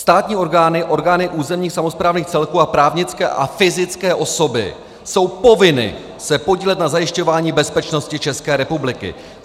Státní orgány, orgány územních samosprávních celků a právnické a fyzické osoby jsou povinny se podílet na zajišťování bezpečnosti České republiky.